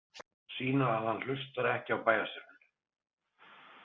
Sýna að hann hlustar ekki á bæjarstjórann.